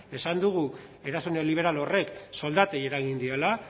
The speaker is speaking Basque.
esan dugu eraso neoliberal horrek soldatei eragin diola